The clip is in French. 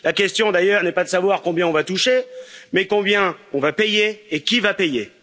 La question, d'ailleurs, n'est pas de savoir combien nous allons toucher, mais combien nous allons payer et qui va payer.